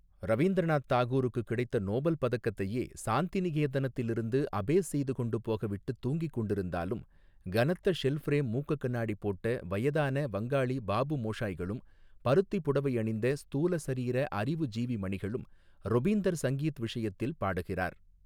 ரவீந்த்ரநாத் தாகூருக்குக் கிடைத்த நோபல் பதக்கத்தையே, சாந்திநிகேதனத்திலிருந்து அபேஸ் செய்து கொண்டுபோக விட்டுத் தூங்கிக் கொண்டிருந்தாலும், கனத்த ஷெல் ஃப்ரேம் மூக்குக் கண்ணாடி போட்ட வயதான வங்காளி பாபு மோஷாய்களும், பருத்திப் புடவையணிந்த, ஸ்தூல சரீர அறிவுஜீவி மணிகளும், ரொபீந்தர் சங்கீத் விஷயத்தில் பாடுகிறார்.